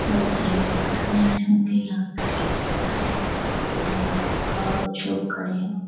लोग सर्विसिंग करने आयें होंगे यहाँ पे पेड़ के बाहर है जिसमे छोटी बाइक रखा हुआ कुछ लोग खड़े हैं।